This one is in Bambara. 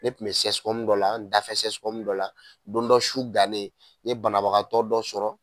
Ne kun be sɛsikɔmu dɔ la an dafɛ sɛsikɔmu dɔ la don dɔ su dannen n ye banabagatɔ dɔ sɔrɔ